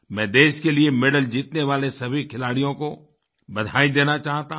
मैं देश के लिए मेडल जीतने वाले सभी खिलाड़ियों को बधाई देना चाहता हूँ